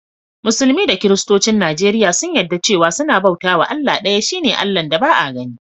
Musulmi da kiristocin Nijeriya sun yadda cewa sunna bauta was Allah daya, shine Allah'n da Ba'a ganni.